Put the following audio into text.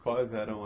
Quais eram as...